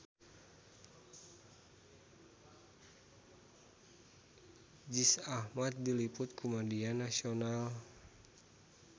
Riz Ahmed diliput ku media nasional